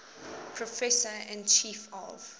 professor and chief of